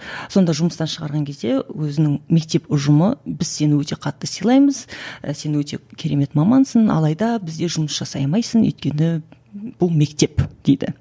сонда жұмыстан шығарған кезде өзінің мектеп ұжымы біз сені өте қатты сыйлаймыз сен өте керемет мамансың алайда бізде жұмыс жасай алмайсың өйткені бұл мектеп дейді